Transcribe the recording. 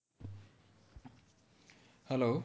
Hello